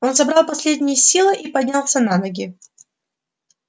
он собрал последние силы и поднялся на ноги